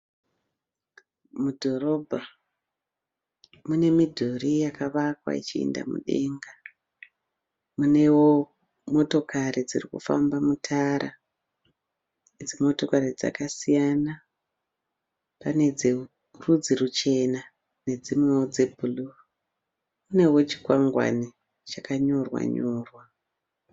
Mudhorobha mune midhuri yakawakwa ichienda mudenga munewo motokari dziri kufamba mutara idzi motokari dzakasiyana kunewo dzichena ne dzimwe dzebhuruu kunewo chikwangwani chakanyorwa nyorwa